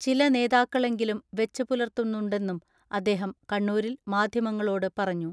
ചിലനേതാക്കളെങ്കിലും വെച്ച് പുലർത്തുന്നുണ്ടെന്നും അദ്ദേഹം കണ്ണൂ രിൽ മാധ്യമങ്ങളോട് പറഞ്ഞു.